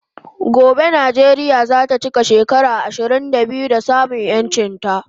Gobe Nijeria zata chika shekara ishirin da biyu da samun yanchin ta